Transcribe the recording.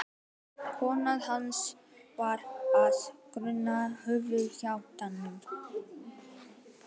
Kona hans var af grónum höfðingjaættum.